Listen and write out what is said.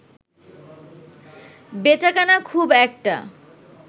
বেচাকেনা খুব একটা